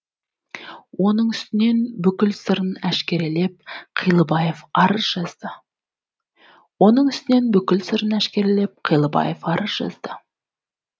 оның үстінен бүкіл сырын әшкерелеп қилыбаев арыз жазды